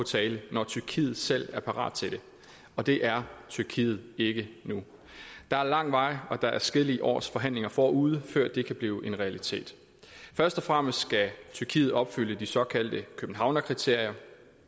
tale når tyrkiet selv er parat til det og det er tyrkiet ikke nu der er lang vej og der er adskillige års forhandlinger forude før det kan blive en realitet først og fremmest skal tyrkiet opfylde de såkaldte københavnskriterier